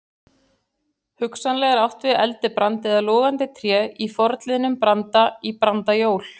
Hugsanlega er átt við eldibrand eða logandi tré í forliðnum branda- í brandajól.